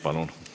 Palun!